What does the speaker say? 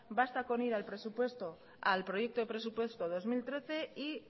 basta con ir al proyecto de presupuesto dos mil trece y